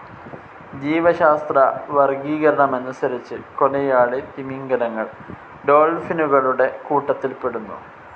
ജീവശാസ്ത്രവർഗീകരണമനുസരിച്ച് കൊലയാളി തിമിംഗലങ്ങൾ ഡോൾഫിനുകളുടെ കൂട്ടത്തിൽപ്പെടുന്നു.